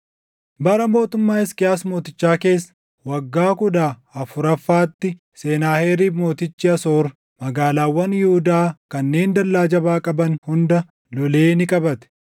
Bara mootummaa Hisqiyaas mootichaa keessa waggaa kudha afuraffaatti Senaaheriib mootichi Asoor magaalaawwan Yihuudaa kanneen dallaa jabaa qaban hunda lolee ni qabate.